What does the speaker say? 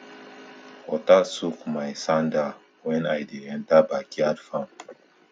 water soak my sandal when i dey enter backyard farm